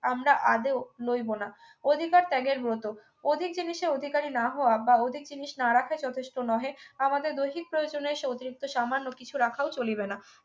আমরা আদৌ লইব না অধিকার ত্যাগের ব্রত অধিক জিনিসে অধিকারী না হওয়া বা অধিক জিনিস না রাখা যথেষ্ট নহে আমাদের দৈহিক প্রয়োজনে এসে অতিরিক্ত সামান্য কিছু রাখাও চলিবে না